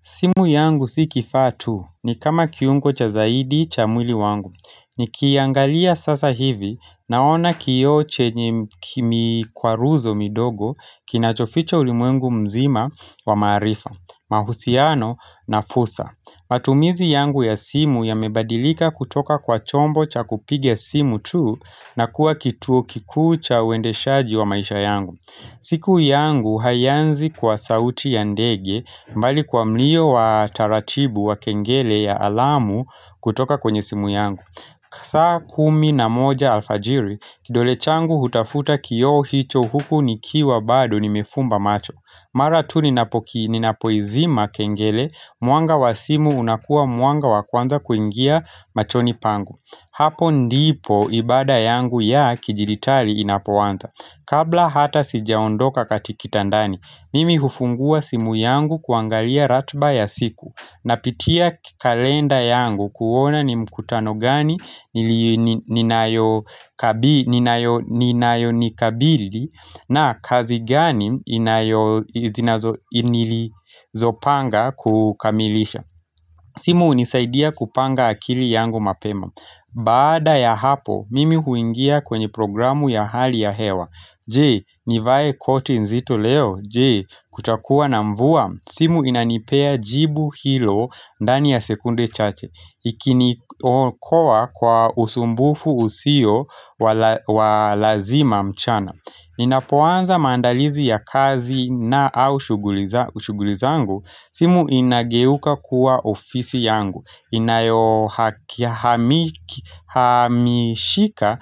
Simu yangu si kifaa tu ni kama kiungo cha zaidi cha mwili wangu. Nikiiangalia sasa hivi naona kioo chenye mikwaruzo midogo kinachofichs ulimwengu mzima wa maarifa, mahusiano na fursa. Matumizi yangu ya simu yamebadilika kutoka kwa chombo cha kupiga simu tu na kuwa kituo kikuu chauendeshaji wa maisha yangu. Siku yangu haianzi kwa sauti ya ndege mbali kwa mlio wa taratibu wa kengele ya alamu kutoka kwenye simu yangu saa kumi na moja alfajiri kidole changu hutafuta kiyo hicho huku nikiwa bado nimefumba macho Mara tu ninapoizima kengele mwanga wa simu unakua mwanga wa kwanza kuingia machoni pangu Hapo ndipo ibada yangu ya kidijiitali inapoanza Kabla hata sijaondoka kati kitandani, mimi hufungua simu yangu kuangalia ratiba ya siku Napitia kalenda yangu kuona ni mkutano gani ninayo nikabili na kazi gani inilizo panga kukamilisha simu hunisaidia kupanga akili yangu mapema Baada ya hapo, mimi huingia kwenye programu ya hali ya hewa Je, nivae koti nzito leo Je, kutakuwa na mvua simu inanipea jibu hilo ndani ya sekunde chache Ikinikowa kwa usumbufu usio walazima mchana ninapoanza msandalizi ya kazi na au shughuli zangu simu inageuka kuwa ofisi yangu Inayohamishika